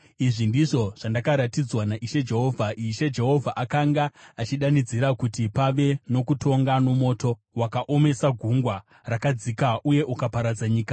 Izvi ndizvo zvandakaratidzwa naIshe Jehovha: Ishe Jehovha akanga achidanidzira kuti pave nokutonga nomoto; wakaomesa gungwa rakadzika uye ukaparadza nyika.